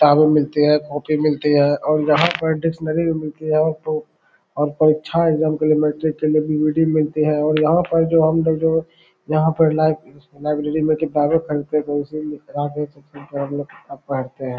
किताब मिलती है कॉपी मिलती है और यहां पर डिक्शनरी भी मिलती है तो आपका इच्छा है मिलते हैं यहां पर लाइ लाइब्रेरी में किताबें खरीदते हैं हम लोग किताब पढ़ते हैं।